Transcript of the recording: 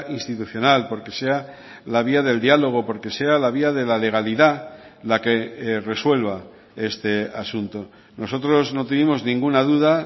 institucional porque sea la vía del diálogo porque sea la vía de la legalidad la que resuelva este asunto nosotros no tuvimos ninguna duda